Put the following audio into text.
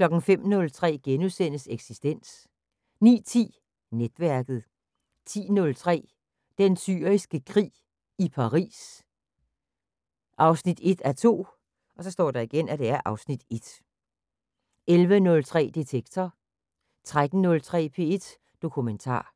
05:03: Eksistens * 09:10: Netværket 10:03: Den Syriske Krig – i Paris 1:2 (Afs. 1) 11:03: Detektor 13:03: P1 Dokumentar